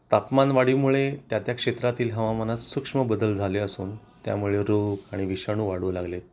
तापमानवाढी मुळे त्या त्या क्षेत्रातील हवामानात सूक्ष्म बदल झाले असून त्यामुळे रोग आणि विषाणू वाढू लागले